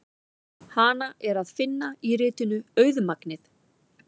Hana er að finna í ritinu Auðmagnið.